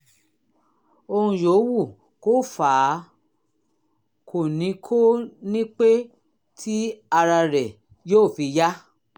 ohun yòówù kó fà á kò ní kò ní pẹ́ tí ara rẹ yóò fi yá